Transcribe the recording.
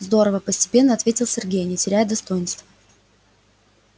здорово постепенно ответил сергей не теряя достоинства